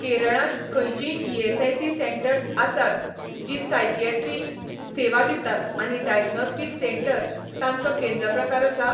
केरळांत खंयचींय ESIC centres आसात जीं सायकियॅट्री सेवा दितात आनी डायग्नोस्टीक सेंटर तांचो केंद्र प्रकार आसा?